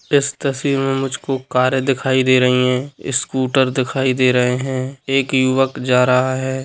इस तस्वीर मे मुझको कारे दिखाई दे रही हैं स्कूटर दिखाई दे रहे है एक युवक जा रहा है।